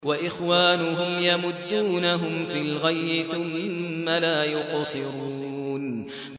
وَإِخْوَانُهُمْ يَمُدُّونَهُمْ فِي الْغَيِّ ثُمَّ لَا يُقْصِرُونَ